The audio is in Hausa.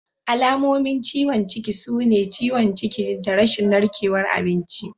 Alamomin ciwon ciki sune ciwon ciki da rashin narkewar abinci.